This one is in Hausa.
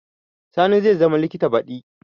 Sani zai zama likita baɗi